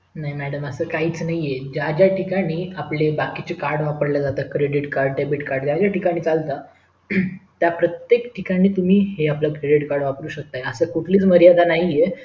नाही madam असं काहीच नाही ज्या ज्या ठिकाणी आपले बाकीचे card वापरले जाते credit card debit card ज्या ज्या ठिकाणी चालत त्या प्रत्येक ठिकाणी तुम्ही हे आपल credit card वापरू शेकता असं कुठलीच मर्यादा नाही